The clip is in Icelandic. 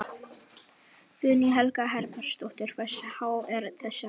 Guðný Helga Herbertsdóttir: Hversu há er þessi krafa?